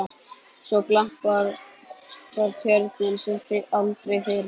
Svo glampar Tjörnin sem aldrei fyrr.